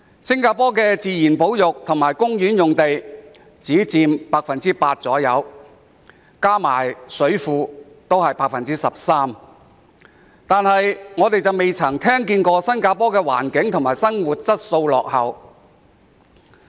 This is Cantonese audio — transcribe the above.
新加坡的自然保育及公園用地只佔約 8%， 加上水庫也只佔約 13%， 但我們從未聽見新加坡環境及生活質素落後。